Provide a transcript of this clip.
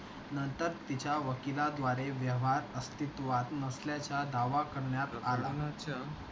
नंतर तिच्या वकीलाद्वारे व्यवहार अस्तित्वात नसल्याचा दावा करण्यात आला.